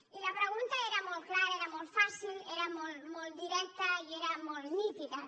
i la pregunta era molt clara era molt fàcil era molt directa i era molt nítida